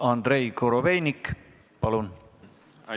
Andrei Korobeinik, palun!